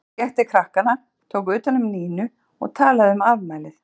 Hann gekk til krakkanna, tók utan um Nínu og talaði um afmælið.